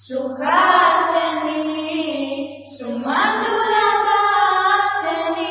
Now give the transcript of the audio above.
Suhasini সুমধুরভাষিণী